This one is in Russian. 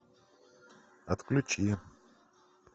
отключи